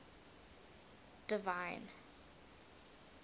divine